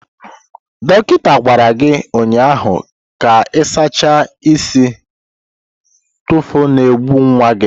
Dọkịta gwara gị ụnyahụ ka ị sachaa isi nfụkasị na-egbu nwa gị